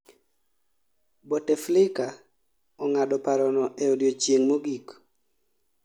bouteflika ong'ado parono e odiechieng' mogik